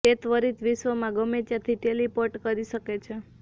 તે ત્વરિત વિશ્વમાં ગમે ત્યાંથી ટેલિપોર્ટ કરી શકે છે